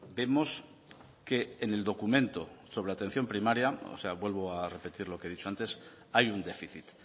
vemos que en el documento sobre la atención primaria o sea vuelvo a repetir lo que he dicho antes hay un déficit